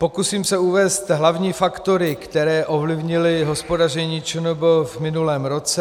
Pokusím se uvést hlavní faktory, které ovlivnily hospodaření ČNB v minulém roce.